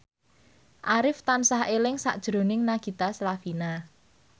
Arif tansah eling sakjroning Nagita Slavina